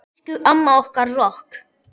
Elsku amma okkar rokk.